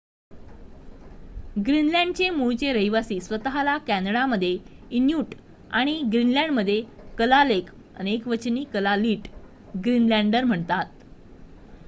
ग्रीनलँडचे मूळचे रहिवासी स्वत:ला कॅनडामध्ये इन्यूट आणि ग्रीनलँडमध्ये कलालेक अनेकवचन कलालिट ग्रीनलँडर म्हणतात